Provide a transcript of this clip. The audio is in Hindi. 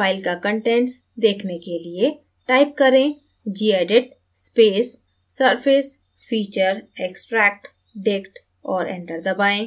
file का कंटेंट्स देखने के लिए type करें gedit space surfacefeatureextractdict और enter दबाएँ